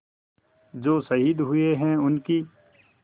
जो शहीद हुए हैं उनकी